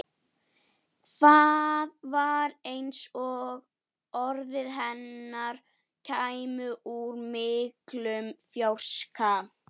Það var eins og orð hennar kæmu úr miklum fjarska.